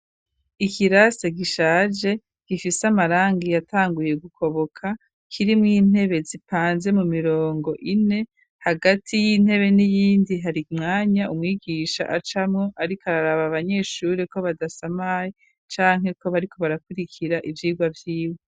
Ikirasa gishaje gifise amarangi yatanguye gukoboka kiri mu intebe zipanze mu mirongo ine hagati y'intebe n'iyindi hari mwanya umwigisha acamwo ariko araraba abanyeshuri ko badasa mayi canke ko bariko barakurikira ivyirwa vy'iwe.